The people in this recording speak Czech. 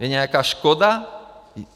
Je nějaká škoda?